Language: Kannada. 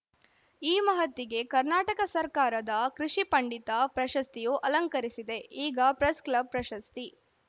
ಈ ಮಹತ್ತಿಗೆ ಕರ್ನಾಟಕ ಸರಕಾರದ ಕೃಷಿ ಪಂಡಿತ ಪ್ರಶಸ್ತಿಯೂ ಅಲಂಕರಿಸಿದೆ ಈಗ ಪ್ರೆಸ್‌ಕ್ಲಬ್‌ ಪ್ರಶಸ್ತಿ